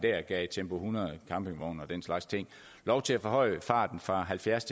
gav tempo hundrede campingvogne og den slags lov til at forhøje farten fra halvfjerds